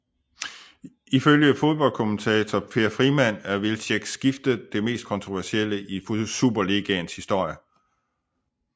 Ifølge foddboldkommentator Per Frimann er Wilczeks skifte det mest kontroversielle i Superligaens historie